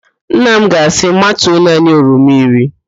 Nna m ga-asị, matuo naanị oroma iri